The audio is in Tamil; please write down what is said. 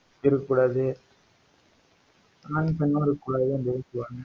இருக்கக்கூடாது ஆணும் பெண்ணும் இருக்கக் கூடாது அப்டின்னு சொல்லுவாங்க